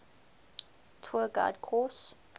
tour guide course